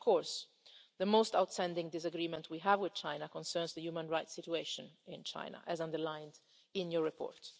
years. Of course, the most outstanding disagreement we have with China concerns the human rights situation in China as underlined in your report.